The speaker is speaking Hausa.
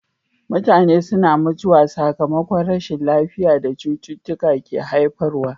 Mutane suna mutuwa sakamakon rashin lafiya da cututtuka ke haifarwa.